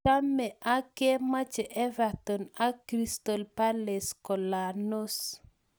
Chame ak komeche Everton ak Crystal Palace Golanos